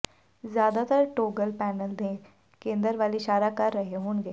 ਜ਼ਿਆਦਾਤਰ toggle panel ਦੇ ਕੇਂਦਰ ਵੱਲ ਇਸ਼ਾਰਾ ਕਰ ਰਹੇ ਹੋਣਗੇ